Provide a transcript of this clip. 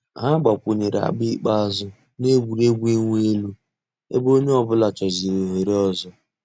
Hà gbàkwùnyèrè àgbà ikpeazụ̀ nà ègwè́régwụ̀ ị̀wụ̀ èlù ebe ònyè ọ̀bula chọ̀zị̀rị̀ òhèrè òzò.